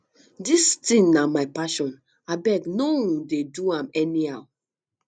dis thing na my passion abeg no um dey do am anyhow